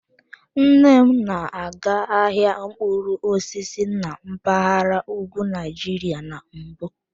Nne m na-aga ahịa mkpụrụ osisi na mpaghara ugwu Nigeria na mbụ.